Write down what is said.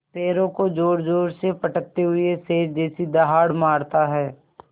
पैरों को ज़ोरज़ोर से पटकते हुए शेर जैसी दहाड़ मारता है